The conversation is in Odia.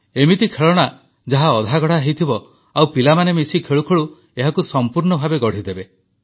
ଏମିତି ଖେଳଣା ଯାହା ଅଧାଗଢ଼ା ହୋଇଥିବ ଆଉ ପିଲାମାନେ ମିଶି ଖେଳୁଖେଳୁ ଏହାକୁ ସମ୍ପୂର୍ଣ୍ଣ ଭାବେ ଗଢ଼ିଦେବେ